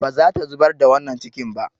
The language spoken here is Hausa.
Ba za ta zubar da wannan cikin ba.